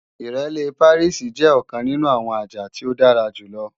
Ìrẹ́lé Pàríìsì jẹ́ ọ̀kan nínú àwọn àjà tí ó dára jù lọ